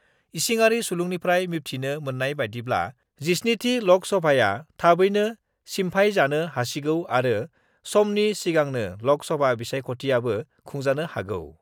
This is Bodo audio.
इसिङारि सुलुंनिफ्राय मिबथिनो मोन्नाय बायदिब्ला, 17थि लक सभाआ थाबैनो सिम्फायजानो हासिगौ आरो समनि सिगांनो लक सभा बिसायख'थिआबो खुंजानो हागौ।